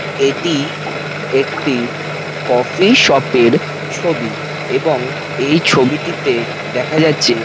এটি একটি coffee shop -এর ছবি এবং এই ছবিটিতে দেখা গেছে।